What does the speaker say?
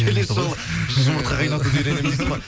келесі жолы жұмыртқа қайнатуды